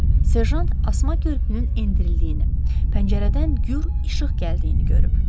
Serjant asma körpünün endirildiyini, pəncərədən gur işıq gəldiyini görüb.